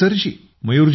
नमस्ते सरजी